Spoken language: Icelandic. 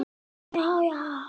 Elsku Guðni minn.